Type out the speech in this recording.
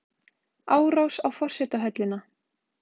Árás á forsetahöllina